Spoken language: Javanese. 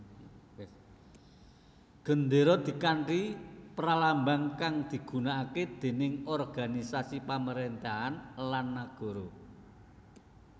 Gendéra dkanthi pralambang kang digunakake dèning organisasi pamaréntahan lan nagara